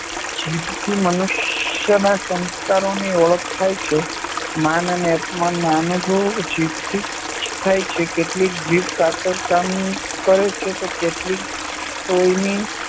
જીભથી મનુષ્યના સંસ્કારોની ઓળખ થાય છે. માન અને અપમાનના અનુભવો જીભથી જ થાય છે. કેટલીક જીભ કાતરનું કામ કરે છે તો કેટલીક સોયની